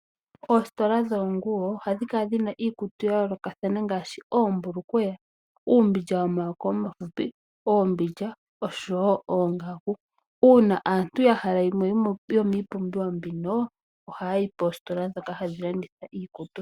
Oositola dhoonguwo ohadhi kala dhina iikutu ya yoolokathana ngaashi oombulukweya, uumbindja womayako omafupi, oombindja oshowo oongaku. Uuna aantu yahala yimwe yomiipumbiwa mbino, ohaya yi poositola dhoka hadhi landitha iikutu.